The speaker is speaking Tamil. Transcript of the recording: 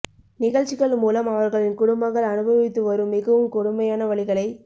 நிகழ்ச்சிகள் மூலம் அவர்களின் குடும்பங்கள் அனுபவித்து வரும் மிகவும் கொடுமையான வலிகளை